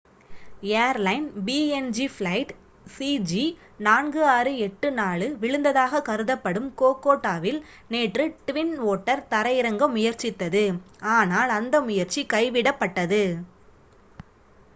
airline PNG flight சிஜி4684 விழுந்ததாக கருதப்படும் கோகோடாவில் நேற்று ட்வின் ஓட்டர் தரையிறங்க முயற்சித்தது ஆனால் அந்த முயற்சி கைவிடப்பட்டது